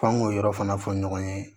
F'an ŋ'o yɔrɔ fana fɔ ɲɔgɔn ye